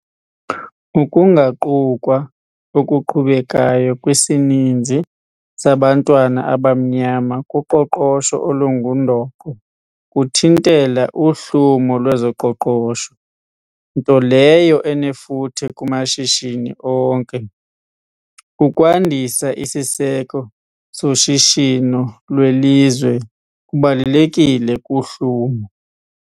Ukungaqukwa okuqhubekayo kwesininzi sabantwana abamnyama kuqoqosho olungundoqo kuthintela uhlumo lwezoqoqosho, nto leyo enefuthe kumashishini onke. Ukwandisa isiseko soshishino lwelizwe kubalulekile kuhlumo.